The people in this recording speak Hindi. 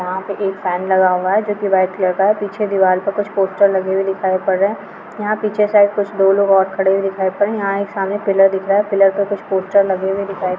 यहां पे एक फेन लगा हुवा है जो की वाईट कलर का है पीछे दीवार पर कुछ पोस्टर लगे हुए दिखाई पड़ रहे है यहां पीछे कुछ दो लोग और खड़े हुए दिखाई पड़ रहे है यहां सामने एक पिलर दिख रहा है पिलर मे एक पोस्टर लगे हुए दिखाई पड़ रहे है|